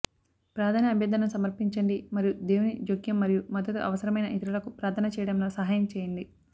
ప్రార్థన అభ్యర్థనను సమర్పించండి మరియు దేవుని జోక్యం మరియు మద్దతు అవసరమైన ఇతరులకు ప్రార్థన చేయడంలో సహాయం చెయ్యండి